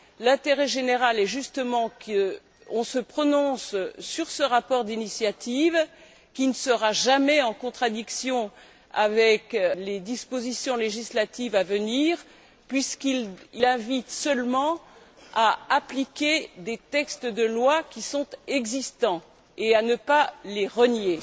L'intérêt général est justement que l'on se prononce sur ce rapport d'initiative, qui ne sera jamais en contradiction avec les dispositions législatives à venir, puisqu'il invite seulement à appliquer des textes de loi qui sont existants, et à ne pas les renier.